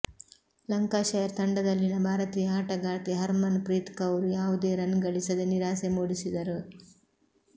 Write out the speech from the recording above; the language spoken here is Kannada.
ಲಂಕಾಷೈರ್ ತಂಡದಲ್ಲಿನ ಭಾರತೀಯ ಆಟಗಾರ್ತಿ ಹರ್ಮನ್ ಪ್ರೀತ್ ಕೌರ್ ಯಾವುದೇ ರನ್ ಗಳಿಸದೆ ನಿರಾಸೆ ಮೂಡಿಸಿದರು